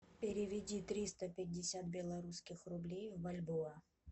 переведи триста пятьдесят белорусских рублей в бальбоа